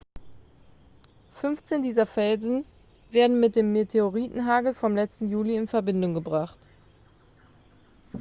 15 dieser felsen werden mit dem meteoritenhagel vom letzten juli in verbindung gebracht